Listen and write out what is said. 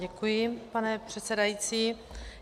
Děkuji, pane předsedající.